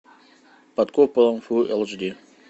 под куполом фулл эйч ди